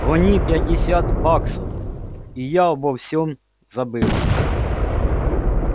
гони пятьдесят баксов и я обо всём забыла